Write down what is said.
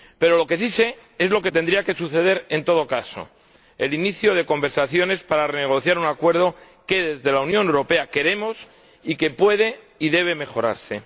Pero lo que sí sé es lo que tendría que suceder en todo caso el inicio de conversaciones para renegociar un acuerdo que quiere la Unión Europea y que puede y debe mejorarse.